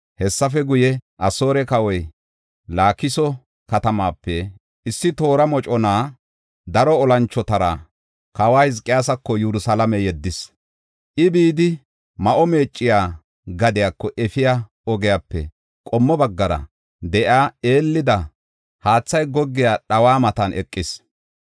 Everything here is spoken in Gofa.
Hessafe guye, Asoore kawoy Laakiso katamaape issi toora mocona daro olanchotara kawa Hizqiyaasako Yerusalaame yeddis. I, bidi Ma7o Meecciya gadiyako efiya ogiyape qommo baggara de7iya eelida haathay goggiya dhawa matan eqis.